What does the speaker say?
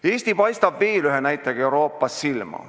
Eesti paistab veel ühe näitajaga Euroopas silma.